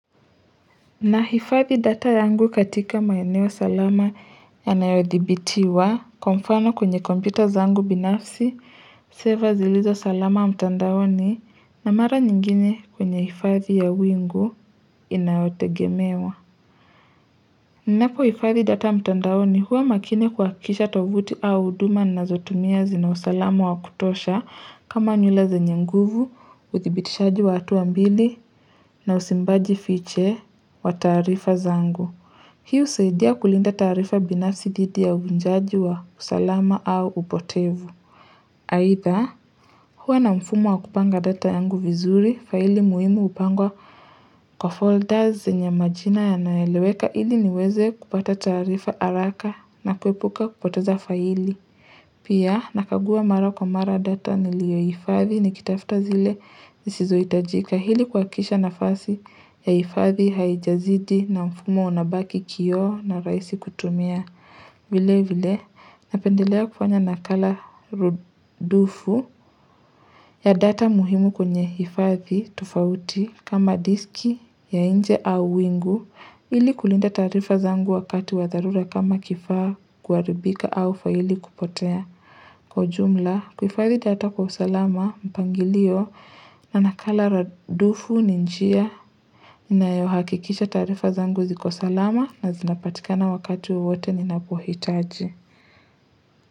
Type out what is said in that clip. Nahifadhi data yangu katika maeneo salama yanayodhibitiwa kwamfano kwenye computer zangu binafsi, seva zilizo salama mtandaoni na mara nyingine kwenye hifadhi ya wingu inayotegemewa. Ninapo hifadhi data mtandaoni huwa makini kwa kisha tovuti au huduma nazo tumia zina usalama wa kutosha kama nywele zenye nguvu, uthibitishaji watu hatua mbili na usimbaji fiche wa taarifa zangu. Hii husaidia kulinda taarifa binasi dhidi ya uvunjaji wa usalama au upotevu. Haitha, huwa na mfumo wakupanga data yangu vizuri, faili muhimu hupangwa kwa folders zenye majina yanaeleweka ili niweze kupata taarifa haraka na kuepuka kupoteza faili. Pia, nakagua mara kwa mara data nilio hifathi nikitafta zile zisizo hitajika hili kwa kisha nafasi ya hifathi haijazidi na mfumo unabaki kio na raisi kutumia. Vile vile napendelea kufanya nakala rudufu ya data muhimu kwenye hifathi tofauti kama diski ya nje au wingu ili kulinda taarifa zangu wakati wadharura kama kifaa kuharibika au faili kupotea kwa ujumla. Kuhifadhi data kwa usalama mpangilio na nakala rudufu ni njia inayohakikisha taarifa zangu ziko salama na zinapatikana wakati wowote ninapohitaji.